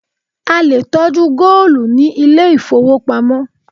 A lè tọ́jú góòlù ní ilé ìfowópamọ́.